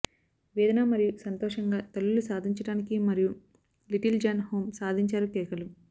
వేదన మరియు సంతోషంగా తల్లులు సాధించడానికి మరియు లిటిల్ జాన్ హోమ్ సాధించారు కేకలు